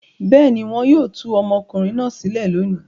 Bẹ́ẹ̀ ni, wọn yóò tú ọmọkùnrin náà sílẹ̀ lónìí.